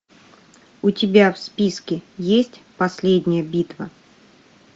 у тебя в списке есть последняя битва